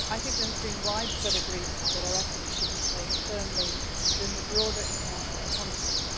There has been widespread agreement that our efforts should be placed firmly within the broader international context.